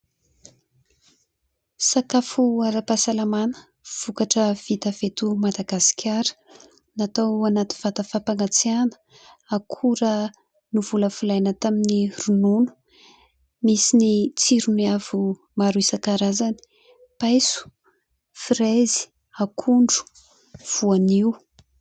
Sakafo ara-pahasalamana ; vokatra vita avy eto Madagasikara ; natao anaty vata fampangatsiahana ; akora novolavolaina tamin'ny ronono ; misy ny tsiro maro isan-karazany : paiso, "fraise", akondro, voanio.